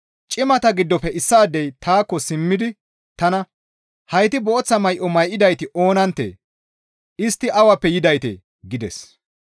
Cimata giddofe issaadey taakko simmidi tana, «Hayti booththa may7o may7idayti oonanttee? Istti awappe yidaytee?» gides.